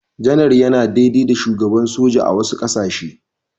Janar yana daidai da Shugaban soja a wasu ƙasashe.